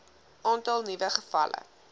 aantal nuwe gevalle